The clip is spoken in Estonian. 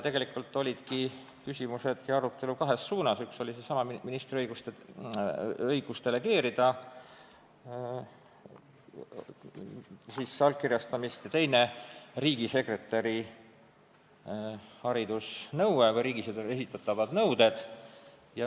Tegelikult esitatigi küsimusi ja peeti arutelu kahes suunas: üks oli seesama ministri õigus delegeerida allkirjastamist ja teine riigisekretäri haridusnõue või laiemalt riigisekretärile esitatavad nõuded.